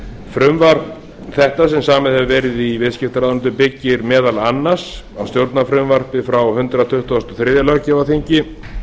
frumvarp þetta sem samið hefur verið í viðskiptaráðuneytinu byggist meðal annars á stjórnarfrumvarpi frá hundrað tuttugasta og þriðja löggjafarþingi